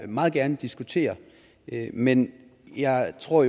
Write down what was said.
meget gerne diskutere men jeg tror